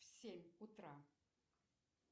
в семь утра